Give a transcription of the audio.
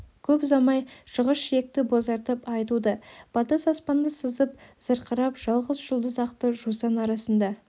көп ұзамай шығыс жиекті бозартып ай туды батыс аспанды сызып зырқырап жалғыз жұлдыз ақты жусан арасында